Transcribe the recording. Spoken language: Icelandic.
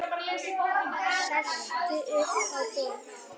Sest upp á borð.